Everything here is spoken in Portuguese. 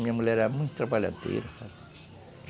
Minha mulher era muito trabalhadeira.